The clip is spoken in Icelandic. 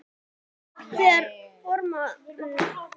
Þegar formlegri dagskrá lauk var ákveðið að fá sér eitthvað í gogginn.